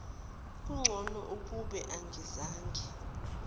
kungcono ukube angizange